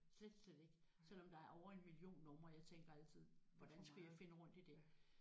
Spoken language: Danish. Slet slet ikke selvom der er over en million numre jeg tænker altid hvordan skulle jeg finde rundt i det